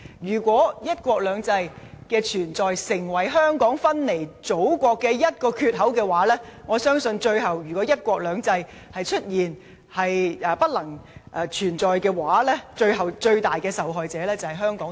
如果"一國兩制"的存在成為香港分離祖國的一個缺口，我相信，最後倘若"一國兩制"不能繼續實施，最大的受害者將是香港和香港市民。